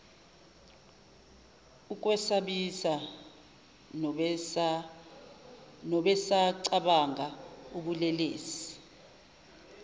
ukwesabisa nobesacabanga ubulelesi